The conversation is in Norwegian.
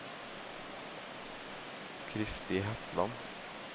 Kristi Hetland